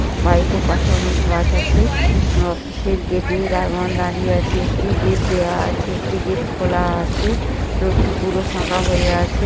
Bike -এর পাশে অনেক গাছ আছে । অফিস -এর গেট -এ দারোয়ান দাঁড়িয়ে আছে। একটি গেট দেওয়া আছে একটি গেট খোলা আছে রোড -টি পুরো ফাঁকা হয়ে আছে ।